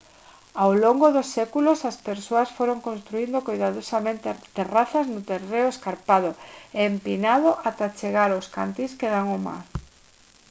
ao longo dos séculos as persoas foron construíndo coidadosamente terrazas no terreo escarpado e empinado ata chegar aos cantís que dan ao mar